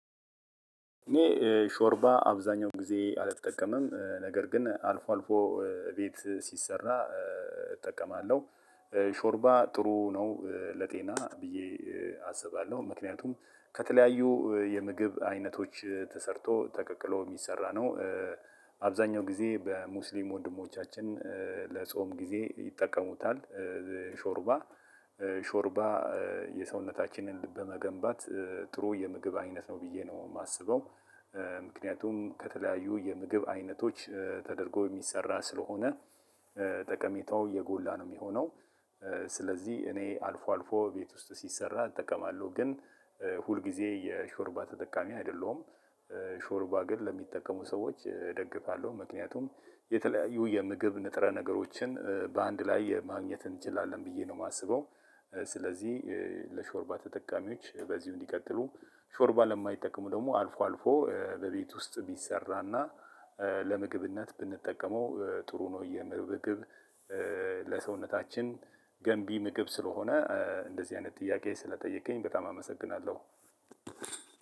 እኔ ሾርባ አብዛኛው ጊዜ አልጠቀምም ነገር ግን አልፎ አልፎ ቤት ሲሰራ እጠቀማለሁ ሾርባ ጥሩ ነው ለጤና ብዬ አስባለሁ ምክንያቱም ከተለያዩ የምግብ አይነቶች ተሰርቶ ተቀቅሎ የሚሰራ ነው። አብዛኛው ጊዜ በሙስሊም ወንድሞቻችን ለጾም ጊዜ ይጠቀሙታል። ሾርባ ሾርባ የሰውነታችንን በመገንባት ጥሩ የምግብ አይነት ነው ብዬ ነው የማስበው። ምክንያቱም ከተለያዩ የምግብ አይነቶች ተደርጎ የሚሰራ ስለሆነ ጠቀሜታው የጎላ ነው ሚሆነው። ስለዚህ እኔ አልፎ አልፎ እቤት ውስጥ ሲሰራ እጠቀማለው ግን ሁል ግዜ የሾርባ ተጠቃሚ አይደለሁም። ሾርባ ግን ለሚጠቀሙ ሰዎች እደግፋለሁ ምክንያቱም የተለያዩ የምግብ ንጥረ ነገሮችን በአንድ ላይ ማግኘት እንችላለን ብዬ ነው የማስበው። ስለዚህ ለሾርባ ተጠቃሚዎች በዚሁ እንዲቀጥሉ ሾርባ ለማይጠቀሙ ደግሞ አልፎ አልፎ በቤት ውስጥ ቢሰራና ለምግብነት ብንጠቀመው ጥሩ ነው። የምግብ ለሰውነታችን ገንቢ ምግብ ስለሆነ እንደዚህ አይነት ጥያቄ ስለጠየቀኝ በጣም አመሰግናለሁ።